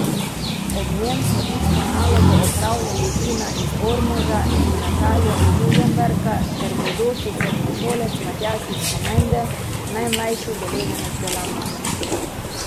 Ob njem so isto nalogo opravljali Tina iz Ormoža in Natalija iz Žužemberka ter bodoči sedmošolec Matjaž iz Komende, najmlajši udeleženec delavnice.